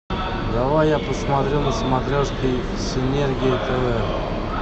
давай я посмотрю на смотрешке синергия тв